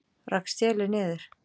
Rak stélið niður